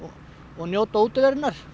njóta útiverunnar